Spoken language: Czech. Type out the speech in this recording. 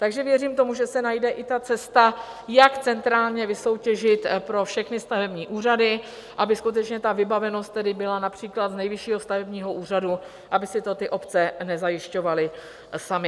Takže věřím tomu, že se najde i ta cesta, jak centrálně vysoutěžit pro všechny stavební úřady, aby skutečně ta vybavenost tedy byla například z Nejvyššího stavebního úřadu, aby si to ty obce nezajišťovaly samy.